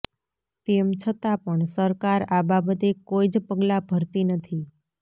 તેમ છતાં પણ સરકાર આ બાબતે કોઇ જ પગલાં ભરતી નથી